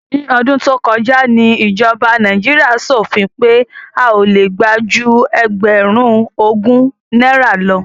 Ní ọdún tó kọjá ni ìjọba Nàíjíríà ṣòfin pé a ò le gbà ju ẹgbẹ̀rún ogún náírà lọ.